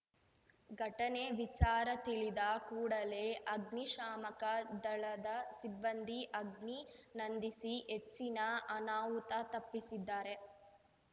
ಘಟನೆ ವಿಚಾರ ತಿಳಿದ ಕೂಡಲೇ ಅಗ್ನಿಶಾಮಕ ದಳದ ಸಿಬ್ಬಂದಿ ಅಗ್ನಿ ನಂದಿಸಿ ಹೆಚ್ಚಿನ ಅನಾಹುತ ತಪ್ಪಿಸಿದ್ದಾರೆ